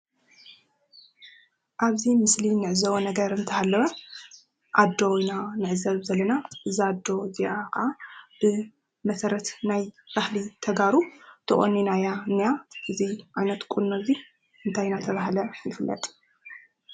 ኣብዚ ምስሊ ንዕዘቦ ነገር እንተሃለወ ኣዶ ኢና ንዕዘብ ዘለና፡እዛ ኣዶ እዚኣ ከዓ ብመሰረት ናይ ባህሊ ተጋሩ ተቖኒና እያ እኒኣ፡ እዚ ዓይነት ቁኖ እዚ እንታይ እናተባህለ ይፍለጥ?